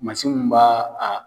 munnu b'a a